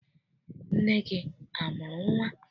Nne gị amụrụ nnwa?